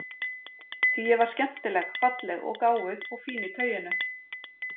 Því ég var skemmtileg falleg og gáfuð og fín í tauinu.